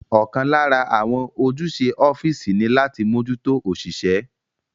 Ọ̀kan lára àwọn ojúṣe ọ́físì ní láti mójútó òṣìṣẹ́